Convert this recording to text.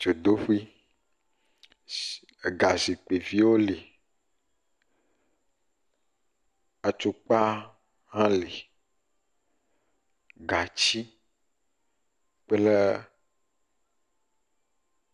Dzodoƒe ega zikpuiviwo li, atukpa hã li, gatsi kple.